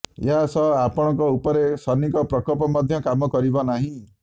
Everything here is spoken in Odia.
ଏହା ସହ ଆପଣଙ୍କ ଉପରେ ଶନିଙ୍କ ପ୍ରକୋପ ମଧ୍ୟ କାମ କରିବ ନାହିଁ